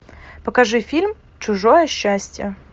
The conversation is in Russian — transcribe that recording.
покажи фильм чужое счастье